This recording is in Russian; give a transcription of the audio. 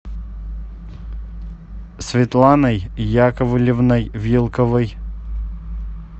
светланой яковлевной вилковой